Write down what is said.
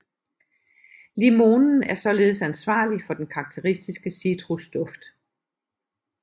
Limonen er således ansvarlig for den karakteristiske citrusduft